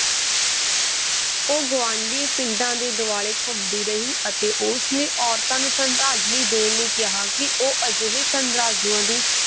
ਉਹ ਗੁਆਂਢੀ ਪਿੰਡਾਂ ਦੇ ਦੁਆਲੇ ਘੁੰਮਦੀ ਰਹੀ ਅਤੇ ਉਸਨੇ ਔਰਤਾਂ ਨੂੰ ਸ਼ਰਧਾਂਜਲੀ ਦੇਣ ਲਈ ਕਿਹਾ ਕਿ ਉਹ ਅਜਿਹੇ ਸ਼ਰਧਾਲੂਆਂ ਦੀ